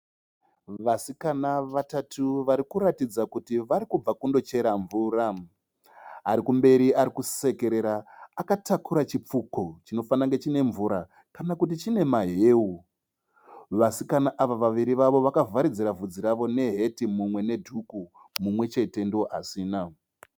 Vasikana vatatu varikuratidza kuti varikubva kundochera mvura. Arikumberi arikusekerera akatakura chipfuko chinofanira kunge chine mvura kana kuti chinemahewu. Vasikana ava variri vavo vakavharidzira vhudzi ravo neheti, mumwe nedhuku, mumwechete ndoasina.